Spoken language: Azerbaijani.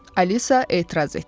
Alisa etiraz etdi.